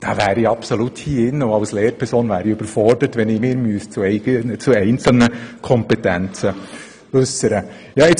Dort wäre ich auch als Lehrperson absolut überfordert, wenn ich mich hier im Rat zu einzelnen Kompetenzen äussern müsste.